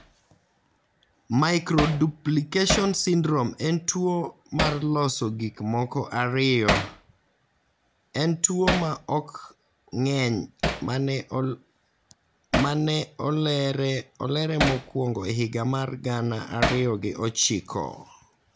15q13.3 microduplication syndrome en tuo mar loso gik moko ariyo en tuo ma ok ng�eny ma ne olere mokuongo e higa mar gana ariyo gi ochiko.